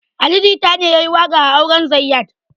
Ali jita ne yayi waƙa a auren zayyad